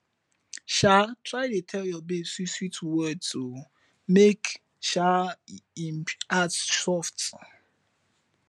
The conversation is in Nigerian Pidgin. um try dey tel yur baby swit swit words o mek um em heart soft